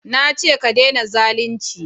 na ce ka dena zalunci!